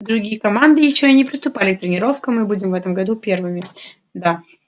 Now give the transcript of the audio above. другие команды ещё и не приступали к тренировкам мы будем в этом году первыми да